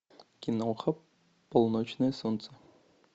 киноха полуночное солнце